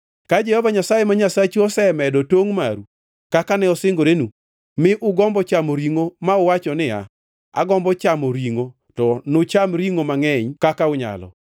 Ka Jehova Nyasaye ma Nyasachu osemedo tongʼ maru kaka ne osingorenu, mi ugombo chamo ringʼo ma uwacho niya, “Agombo chamo ringʼo,” to nucham ringʼo mangʼeny kaka unyalo.